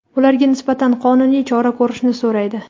ularga nisbatan qonuniy chora ko‘rishni so‘raydi.